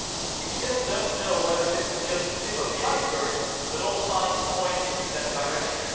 We still do not know whether this is just the tip of the iceberg, but all signs point in that direction.